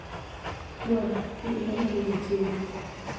Mwamba: ni e alamo jachieni